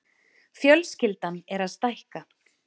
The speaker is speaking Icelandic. Fjölskyldan er að stækka.